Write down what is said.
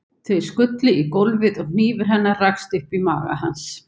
Þau skullu í gólfið og hnífur hennar rakst upp í maga hans.